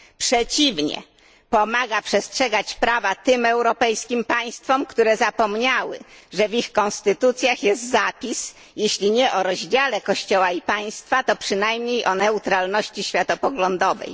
Przeciwnie, pomaga on przestrzegać prawa tym europejskim państwom, które zapomniały, że w ich konstytucjach jest zapis, jeśli nie o rozdziale kościoła i państwa, to przynajmniej o neutralności światopoglądowej.